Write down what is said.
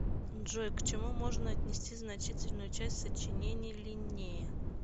джой к чему можно отнести значительную часть сочинений линнея